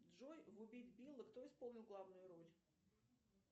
джой в убить билла кто исполнил главную роль